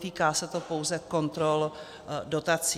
Netýká se to pouze kontrol dotací.